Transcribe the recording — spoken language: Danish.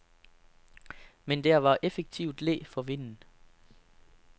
Men der var effektivt læ for vinden.